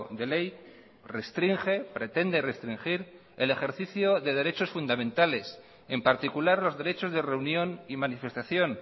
de ley restringe pretende restringir el ejercicio de derechos fundamentales en particular los derechos de reunión y manifestación